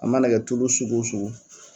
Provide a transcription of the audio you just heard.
A mana kɛ tulu sugu sugu.